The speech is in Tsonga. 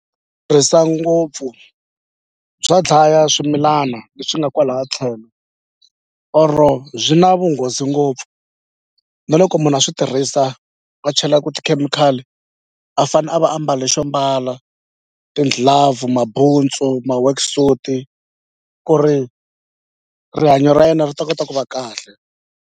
Tirhisa ngopfu bya dlaya swimilana leswi nga kwalaha tlhelo or byi na vunghozi ngopfu na loko munhu a swi tirhisa a chelaku tikhemikhali a fane a va a mbale xo mbala ti-glove mabuntsu ma-worksuit ku ri rihanyo ra yena ri ta kota ku va kahle.